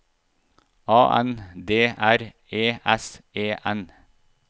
A N D R E S E N